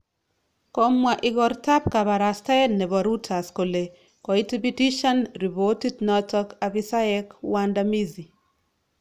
Komwa igortab kabarastael nebo Reuters kole koitibitisyan ribotiit noto abisayek waandamizi